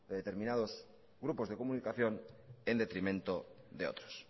de determinados grupos de comunicación en detrimentos de otros